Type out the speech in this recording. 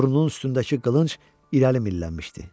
Burnunun üstündəki qılınc irəli millənmişdi.